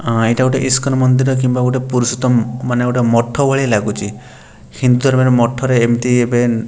ଅଁ ଏଇଟା ଗୋଟେ ଇସ୍କନ୍ ମନ୍ଦିର କିମ୍ବା ଗୋଟେ ପୁରୁଷୋତ୍ତମ୍ ମାନେ ଗୋଟେ ମଠ ଭଳିଆ ଲାଗୁଚି। ହିନ୍ତର୍ ମାନେ ମଠରେ ଏମିତି ଏବେ --